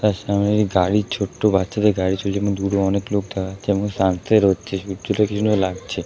তার সামনে গাড়ির ছোট বাচ্চাদের গাড়ি ।